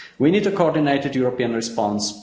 We need a coordinated European response.